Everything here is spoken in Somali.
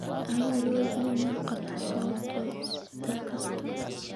Ha iloobin inaad qorto sababta isbeddel kasta.